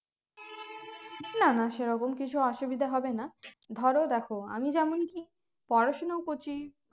না না সেরকম কিছু অসুবিধা হবে না ধরো দেখো আমি যেমনকি পড়াশুনো করছি